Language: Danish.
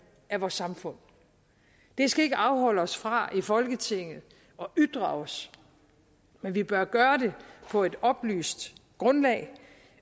af vores samfund det skal ikke afholde os fra i folketinget at ytre os men vi bør gøre det på et oplyst grundlag